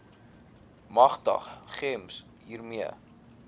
magtig gems hiermee